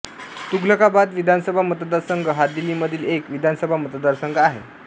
तुघलकाबाद विधानसभा मतदारसंघ हा दिल्लीमधील एक विधानसभा मतदारसंघ आहे